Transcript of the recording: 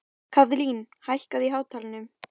Kaðlín, hækkaðu í hátalaranum.